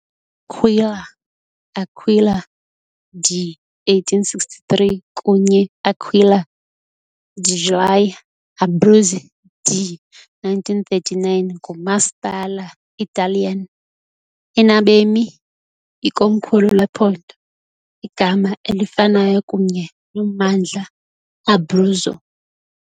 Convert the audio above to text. L'Aquila, Aquila de 1863 kunye Aquila degli Abruzzi de 1939, ngumasipala Italian enabemi, ikomkhulu lephondo igama elifanayo kunye nommandla Abruzzo.